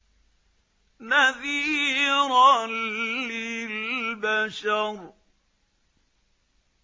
نَذِيرًا لِّلْبَشَرِ